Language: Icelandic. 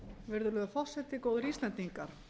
virðulegur forseti góðir íslendingar